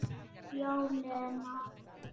Já, Lena.